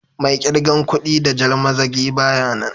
Mai kirgan kuɗ da jan mazagi baya nan.